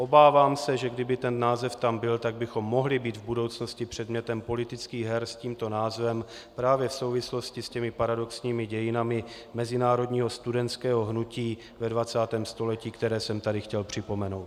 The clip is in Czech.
Obávám se, že kdyby ten název tam byl, tak bychom mohli být v budoucnosti předmětem politických her s tímto názvem právě v souvislosti s těmi paradoxními dějinami mezinárodního studentského hnutí ve 20. století, které jsem tady chtěl připomenout.